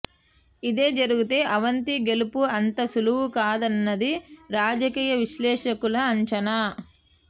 ఇదే జరిగితే అవంతి గెలుపు అంత సులువు కాదన్నది రాజకీయ విశ్లేషకుల అంచనా